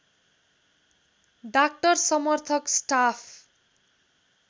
doctor समर्थक staff